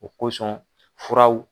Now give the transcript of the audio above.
O kosɔn furaw